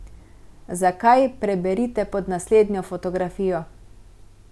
Zakaj, preberite pod naslednjo fotografijo.